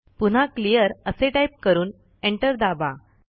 पुन्हा क्लिअर असे टाईप करून एंटर दाबा